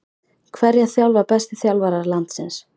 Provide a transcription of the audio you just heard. Hverja þjálfa bestu þjálfarar landsins?